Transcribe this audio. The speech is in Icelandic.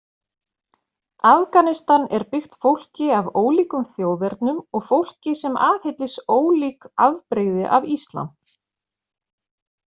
Afganistan er byggt fólki af ólíkum þjóðernum og fólki sem aðhyllist ólík afbrigði af islam.